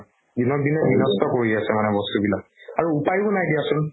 দিনক দিনে বিনষ্ট কৰি আছে মানে বস্তুবিলাক আৰু উপাইও নাই দিয়াচোন